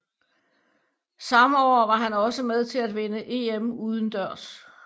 Samme år var han også med til at vinde EM udendørs